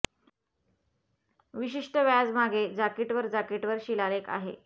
विशिष्ट व्याज मागे जाकीट वर जाकीट वर शिलालेख आहे